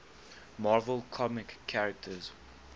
marvel comics characters